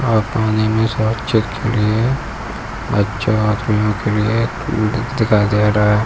और पानी में के लिए बच्चा आदमियों के लिए उ द दिखाई दे रहा है।